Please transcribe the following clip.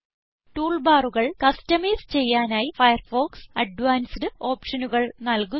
tool ബാറുകൾ customise ചെയ്യാനായി Firefox advanced ഓപ്ഷനുകൾ നല്കുന്നു